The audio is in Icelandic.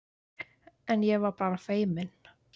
En ég var bara feiminn.